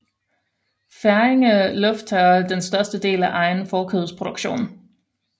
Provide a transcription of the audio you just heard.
Færingerne lufttørrer den største del af egen fårekødsproduktion